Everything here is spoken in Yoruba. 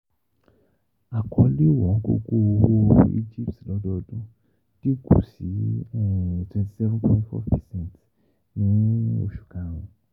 Akọle Ọ̀wọ́ngógó owo Egypt lọ́dọọdún dinku sí twenty seven point four percent ni] oṣu karùn-ún.